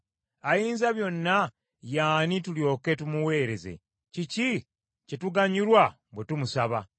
Ayinzabyonna ye ani tulyoke tumuweereze? Kiki kye tuganyulwa bwe tumusaba?’